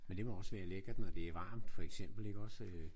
Men det må også være lækkert når det er varmt for eksempel iggås?